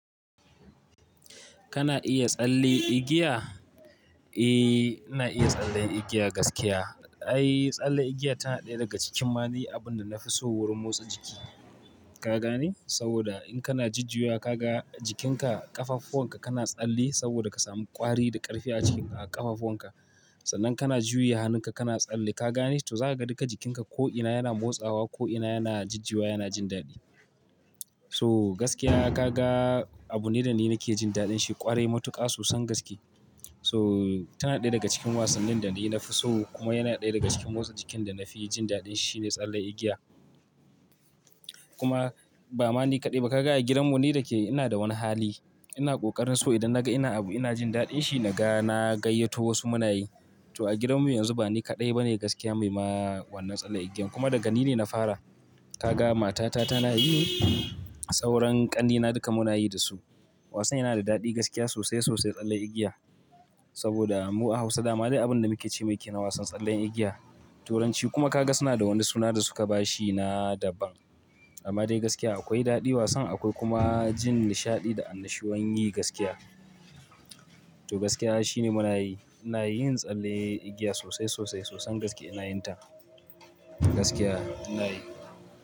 Kana iya tsalle igiya? Eh, ina iya tsallen igiya gaskiya. Ai, tsalle igiya tana ɗaya daga cikin mali abunda nafi so wurin motsa jiki. Ka gane? Saboda in kana jujjuwa ka ga jikinka ƙafafuwan ka kana tsalle saboda ka samu ƙwari da ƙarfi a cikin ƙafafuwan ka. Sannan kana juya hannun ka kana tsalle, ka gane? To zaka ga duka jikinka ko'ina yana motsawa, ko'ina yana jujjuwa, yana jin daɗi. So gaskiya ka ga abu ne dani nake jin daɗin shi ƙwarai matuƙa sosan gaskiya. So tana ɗaya daga cikin wasannin da ni nafi so kuma yana ɗaya daga cikin motsa jikin da nafi jin daɗin shine tsalle igiya. Kuma ba mani kaɗai ba, ka ga a gidanmu ni da ke ina da wani hali. Ina ƙoƙarin so idan naga ina abu ina jin daɗin shi naga na gayyato wasu muna yi. To a gidanmu yanzu ba ni kaɗai bane gaskiya mai ma wannan tsalle igiyan kuma daga ni ne na fara. Ka ga matata tana yi sauran ƙannena duka muna yi dasu. Wasan yana da daɗi gaskiya sosai, sosai tsalle igiya. Saboda mu a Hausa dama dai abunda muke ce ma yake na wasan tsallen igiya. Turanci kuma ka ga suna da wani suna da suka bashi na daban. Amma dai gaskiya akwai daɗi wasan akwai kuma jin nishaɗi da annashuwan yi gaskiya. To gaskiya shine muna yi. Ina yin tsalle igiya sosai, sosai sosan gaskiya ina yin ta. Gaskiya ina yi.